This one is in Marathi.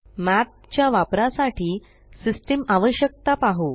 Mathच्या वापरासाठी सिस्टम आवश्यकता पाहु